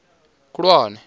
khulwane